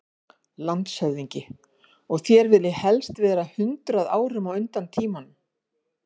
LANDSHÖFÐINGI: Og þér viljið helst vera hundrað árum á undan tímanum.